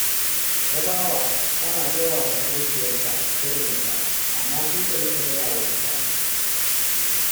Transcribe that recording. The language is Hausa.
Tabawa tana gaya wa maƙociyarta sirrinta, amma sai ta riƙa gaya wa mutane